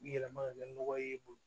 Yɛlɛma ka kɛ nɔgɔ ye